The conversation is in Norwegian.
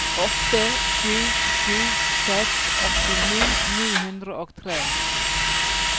åtte sju sju seks åttini ni hundre og tre